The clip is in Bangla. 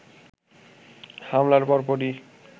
হামলার পরপরই